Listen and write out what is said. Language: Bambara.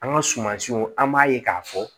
An ka sumansiw an b'a ye k'a fɔ